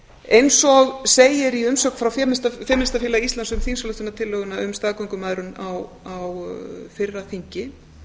eins og segir í umsögn femínistafélags íslands um þingsályktunartillöguna um staðgöngumæðrun á fyrra þingi